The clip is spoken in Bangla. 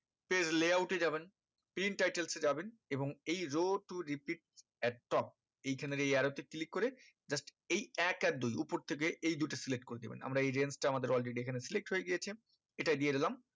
page layout এ যাবেন print title এ যাবেন এবং এই row to repeat at top এইখানের এই arrow তে click করে just এই এক আর দুই উপর থেকে এই দুটো select করে দেবেন আমরা এই range টা আমাদের already এখানে select হয়ে গিয়েছে এটাই দিয়ে দিলাম